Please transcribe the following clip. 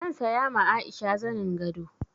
Zan saya ma Aisha zanin gado.